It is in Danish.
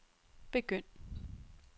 begynd